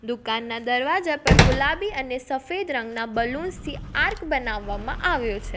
દુકાનના દરવાજા પર ગુલાબી અને સફેદ રંગના બલૂન્સ થી આર્ક બનાવવામાં આવ્યો છે.